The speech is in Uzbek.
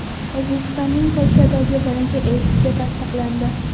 O‘zbekistonning Polshadagi birinchi elchisi tasdiqlandi.